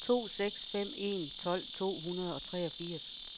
to seks fem en tolv to hundrede og treogfirs